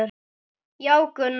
Já, Gunna.